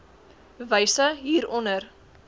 wyse hier onder